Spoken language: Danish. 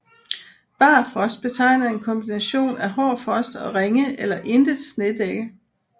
Barfrost betegner en kombination af hård frost og ringe eller intet snedække